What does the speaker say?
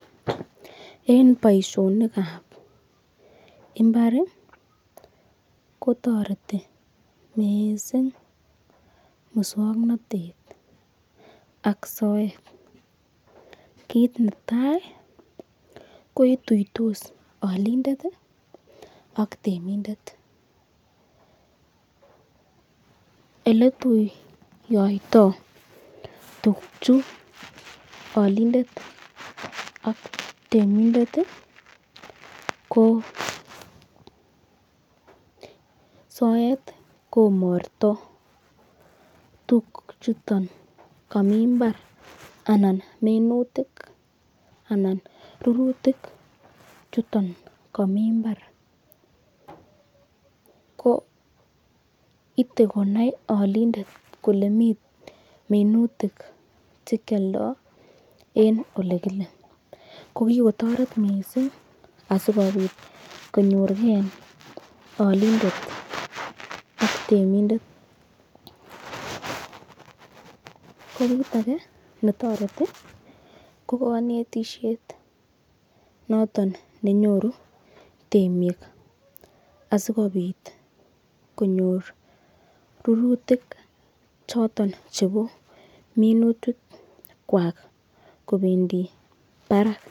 En boisionik ab imbar kotoreti mising muswoknatet ak soet. Kiit netai koituitos olindet ak temindet. Ele ituiyoito tuguchu olindet ak temindet ko soet ko morto tuguchuto komi mbar anan minutik anan rurutik chuton komi mbar. Ko ite konai olindet kole mi minutik che kyoldo en ole kile. Ko kigotoret mising asikobit konyorge olindet ak temindet. Ko kit age netoreti ko konetishet noton nenyoru temik asikobit konyor rurutik choton chebo minutikwak kobendi barak.